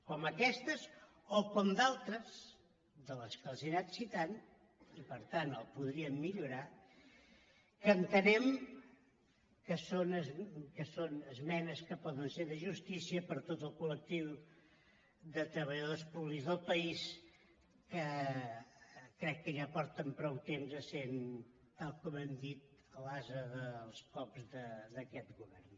com aquesta o com d’altres de les que els he anat citant i per tant el podríem millorar que entenem que són esmenes que poden ser de justícia per a tot el col·lectiu de treballa·dors públics del país que crec que ja fa prou temps que són tal com hem dit l’ase dels cops d’aquest govern